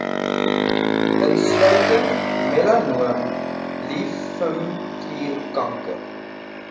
insluitend melanoom limfklierkanker